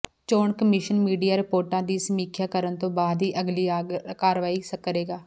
ਚੋਣ commission media ਰਿਪੋਰਟਾਂ ਦੀ ਸਮੀਖਿਆ ਕਰਨ ਤੋਂ ਬਾਅਦ ਹੀ ਅਗਲੀ ਕਾਰਵਾਈ ਕਰੇਗਾ